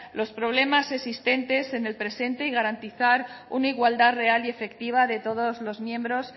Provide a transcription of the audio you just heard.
los problemas existentes en el presente y garantizar una igualdad real y efectiva de todos los miembros